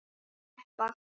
Best Of?